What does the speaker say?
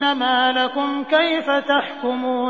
مَا لَكُمْ كَيْفَ تَحْكُمُونَ